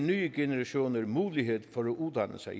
nye generationer mulighed for at uddanne sig